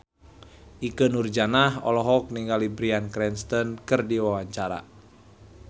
Ikke Nurjanah olohok ningali Bryan Cranston keur diwawancara